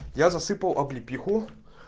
я засыпал облепиху